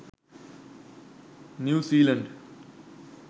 new zealand